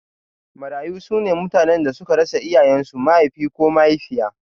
Marayu sune mutanen da suka rasa iyayen su Mahaifi ko mahaifiya